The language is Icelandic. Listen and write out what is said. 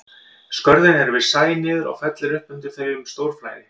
Skörðin eru við sæ niður og fellur upp undir þau um stórflæði.